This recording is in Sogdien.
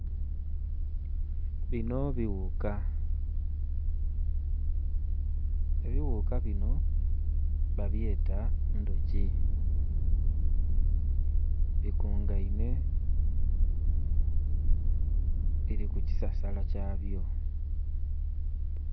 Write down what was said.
binho bighuka, ebighuka binho babyeta ndhoki, bikungainhe biri ku kisasala kyabyo.